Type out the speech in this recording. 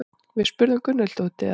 Við spurðum Gunnhildi út í það.